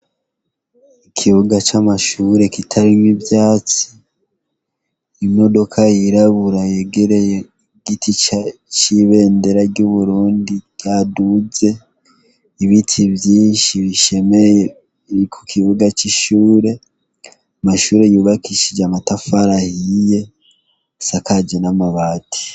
Ikibuga c'amashure kitarimwo ivyatsi, imodoka yirabura yegereye igiti c'ibendera ry'uburundi ryaduze, ibiti vyinshi bishemeye biri kukibuga c'ishure, amashure yubakishije amatafati ahiye, asakaje n'amabati.